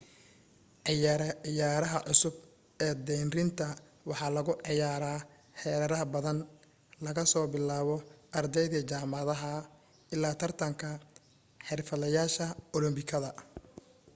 ciyaaraha cusub ee deyrinta waxa lagu ciyaaraa heerar badan laga soo bilaabo ardayda jaamacadaha illaa tartanka xirfadlayaasha olambikada